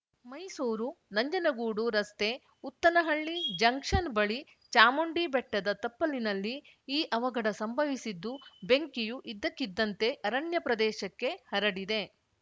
ಮೈಸೂರುನಂಜನಗೂಡು ರಸ್ತೆ ಉತ್ತನಹಳ್ಳಿ ಜಂಕ್ಷನ್‌ ಬಳಿ ಚಾಮುಂಡಿಬೆಟ್ಟದ ತಪ್ಪಲಿನಲ್ಲಿ ಈ ಅವಘಡ ಸಂಭವಿಸಿದ್ದು ಬೆಂಕಿಯು ಇದ್ದಕ್ಕಿದ್ದಂತೆ ಅರಣ್ಯ ಪ್ರದೇಶಕ್ಕೆ ಹರಡಿದೆ